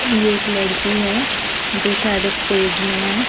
ये एक लड़की है जो शायद स्टेज में है।